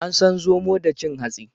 An san zomo da cin hatsi.